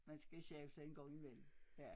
Man skal skabe sig en gang i mellem ja